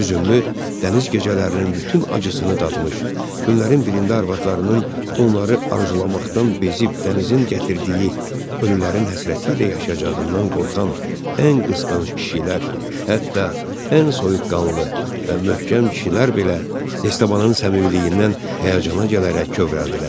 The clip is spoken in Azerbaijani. Hüzünlü dəniz gecələrinin bütün acısını dadmış, günlərin birində arvadlarının onları arzulamaqdan bezib dənizin gətirdiyi ölülərin həsrəti ilə yaşayacağından qorxan ən qısqanc kişilər, hətta ən soyuqqanlı və möhkəm kişilər belə Estabanın səmimiliyindən həyəcana gələrək kövrəldilər.